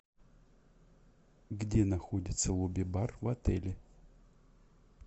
где находится лобби бар в отеле